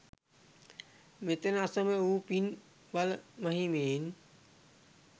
මෙතැන අසමසම වූ පින් බල මහිමයෙන්